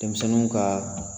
Denmisɛnninw ka